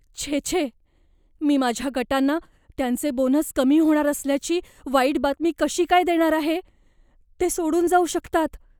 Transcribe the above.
छे छे, मी माझ्या गटांना त्यांचे बोनस कमी होणार असल्याची वाईट बातमी कशी काय देणार आहे? ते सोडून जाऊ शकतात.